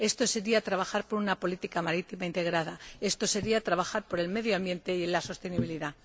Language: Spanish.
Esto sería trabajar por una política marítima integrada, esto sería trabajar por el medio ambiente y la sostenibilidad.